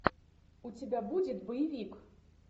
у тебя будет боевик